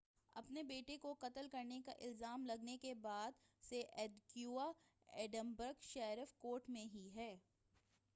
اپنے بیٹے کو قتل کرنے کا الزام لگنے کے بعد سے ادیکویا ایڈنبرگ شیرف کورٹ میں ہی ہے